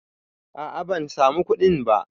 A'a ban samu kuɗin ba